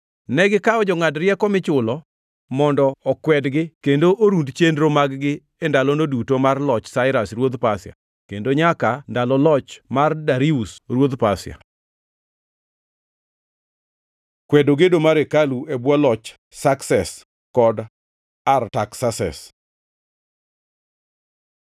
Negikawo jongʼad rieko michulo mondo okwedgi kendo orund chenro mag-gi e ndalono duto mar loch Sairas ruodh Pasia kendo nyaka ndalo loch mar Darius ruodh Pasia. Kwedo gedo mar hekalu e bwo loch Sakses kod Artaksases